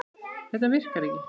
Þetta virkar ekki.